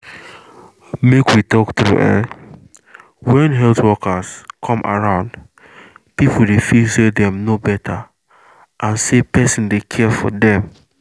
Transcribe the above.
make we talk true[um]when health workers come around people dey feel say dem know better and say person dey care for dem